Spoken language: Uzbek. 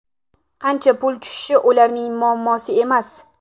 Qancha pul tushishi ularning muammosi emas.